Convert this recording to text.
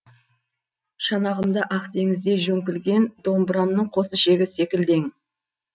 шанағымда ақ теңіздей жөңкілген домбырамның қос ішегі секілді ең